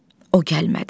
O gəlmədi.